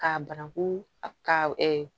K'a bananku ka